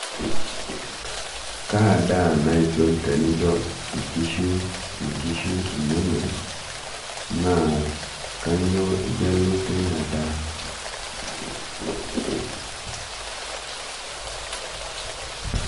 kaa daa naisul tenincho inkishu inonok naa kanyioo igelu teina daa?